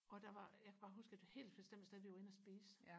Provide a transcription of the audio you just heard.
og der var jeg kan bare huske et helt bestemt sted vi var inde og spise